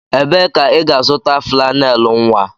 Ebee ka ị ga-azụta flannel nwa?